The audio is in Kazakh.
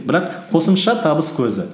бірақ қосымша табыс көзі